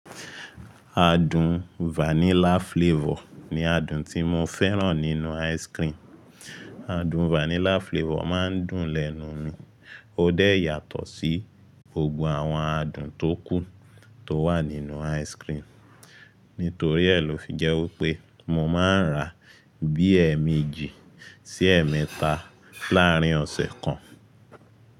Adùn vanilla flavor ni adùn tí mo fẹ́ràn nínú ice cream. Adùn vanilla flavor máa ń dùn lẹ́nu mi, ó dẹ̀ yàtọ̀ sí gbogbo àwọn adùn tó kù tó wà nínú ice cream. Nítorí ẹ́ lo fi jẹ́ wípé mo máa ń rà bí ẹ̀ẹ̀mẹ́jì sí ẹ̀ẹ̀mẹ́ta láàárin ọ̀sẹ̀ kan.